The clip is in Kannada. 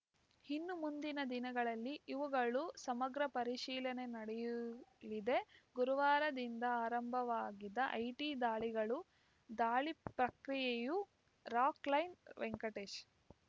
ಇನ್ನು ಮುಂದಿನ ದಿನಗಳಲ್ಲಿ ಇವುಗಳ ಸಮಗ್ರ ಪರಿಶೀಲನೆ ನಡೆಯುಲಿದೆ ಗುರುವಾರದಿಂದ ಆರಂಭವಾಗಿದ್ದ ಐಟಿ ದಾಳಿಗಳು ಪ್ರಕ್ರಿಯೆಯು ರಾಕ್‌ಲೈನ್‌ ವೆಂಕಟೇಶ್‌